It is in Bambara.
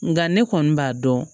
Nka ne kɔni b'a dɔn